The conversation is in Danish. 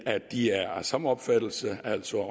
at de er af samme opfattelse altså